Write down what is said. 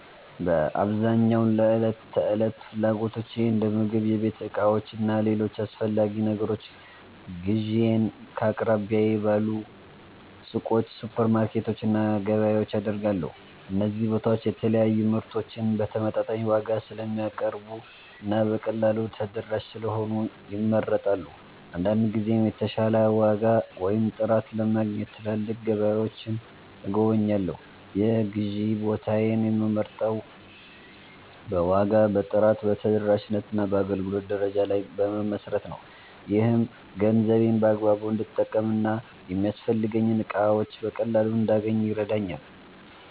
በአብዛኛው ለዕለት ተዕለት ፍላጎቶቼ እንደ ምግብ፣ የቤት ዕቃዎች እና ሌሎች አስፈላጊ ነገሮች ግዢዬን ከአቅራቢያዬ ባሉ ሱቆች፣ ሱፐርማርኬቶች እና ገበያዎች አደርጋለሁ። እነዚህ ቦታዎች የተለያዩ ምርቶችን በተመጣጣኝ ዋጋ ስለሚያቀርቡ እና በቀላሉ ተደራሽ ስለሆኑ ይመረጣሉ። አንዳንድ ጊዜም የተሻለ ዋጋ ወይም ጥራት ለማግኘት ትላልቅ ገበያዎችን እጎበኛለሁ። የግዢ ቦታዬን የምመርጠው በዋጋ፣ በጥራት፣ በተደራሽነት እና በአገልግሎት ደረጃ ላይ በመመስረት ነው። ይህም ገንዘቤን በአግባቡ እንድጠቀም እና የሚያስፈልጉኝን እቃዎች በቀላሉ እንዳገኝ ይረዳኛል።